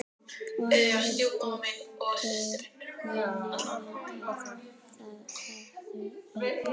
Og nú vildu þeir meina að það hefðu verið